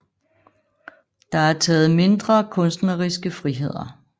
Der er taget mindre kunstneriske friheder